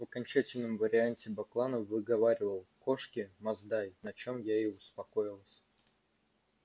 в окончательном варианте бакланов выговаривал кошки масдай на чём я и успокоилась